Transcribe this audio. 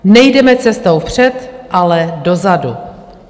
Nejdeme cestou vpřed, ale dozadu."